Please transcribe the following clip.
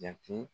Jate